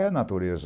É natureza.